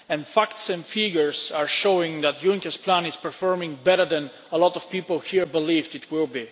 Facts and figures are showing that Juncker's plan is performing better than a lot of people here believed it would.